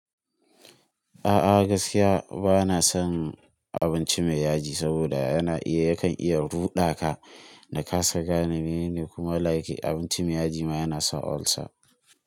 A'a gaskiya bana son abinci mai yaji saboda yana iya, yakan iya ruɗa ka da kasa gane menene kuma like abinci mai yaji ma yana sa ulcer.